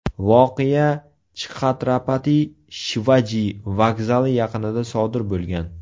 Voqea Chxatrapati Shivaji vokzali yaqinida sodir bo‘lgan.